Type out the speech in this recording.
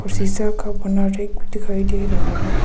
शीशा का बना रैक भी दिखाई दे रहा है।